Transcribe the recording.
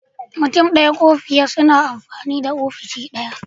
Mutum ɗaya ko fiye suna iya amfani da ofishi ɗaya.